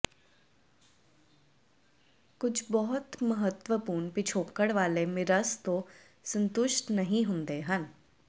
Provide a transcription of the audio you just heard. ਕੁਝ ਬਹੁਤ ਮਹੱਤਵਪੂਰਣ ਪਿਛੋਕੜ ਵਾਲੇ ਮਿਰਰਸ ਤੋਂ ਸੰਤੁਸ਼ਟ ਨਹੀਂ ਹੁੰਦੇ ਹਨ